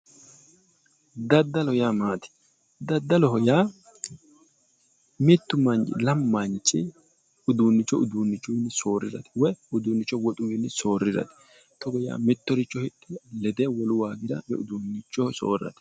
daddalu yaa maati daddaloho yaa mittu manchi lamu manchi uduunnicho uduunnichunni soorrire woyi uduunnicho woxunni soorrirate togo yaa mittoricho hidhe lede wolu waagira oyi uduunnichoho soorrate.